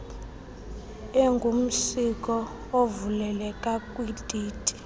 engumsiko evuleleka kwititi